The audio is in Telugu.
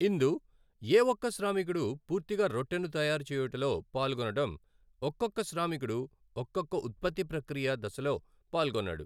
ఇందు ఏ ఒక్క శ్రామికుడు పూర్తిగా రొట్టెను తయారు చేయుటలో పాల్గొనడం, ఒక్కొక్క శ్రామికుడు ఒక్కొక్క ఉత్పత్తి ప్రక్రియ దశలో పాల్గొన్నాడు.